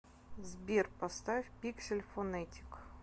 сбер поставь пиксель фонетик